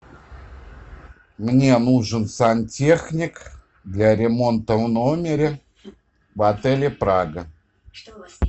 мне нужен сантехник для ремонта в номере в отеле прага